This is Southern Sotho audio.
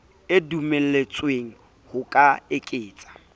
e dumelletswe ho ka eketsa